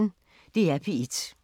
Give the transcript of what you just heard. DR P1